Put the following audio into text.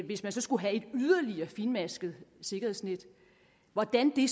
hvis man så skulle have et yderligere fintmasket sikkerhedsnet hvordan det